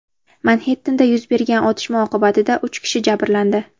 Manxettenda yuz bergan otishma oqibatida uch kishi jabrlandi.